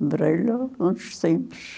lembrei-lhe há uns tempos.